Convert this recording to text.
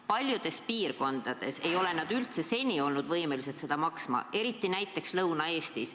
Paljudes piirkondades ei ole ka seni ei oldud võimelised seda maksma, eriti näiteks Lõuna-Eestis.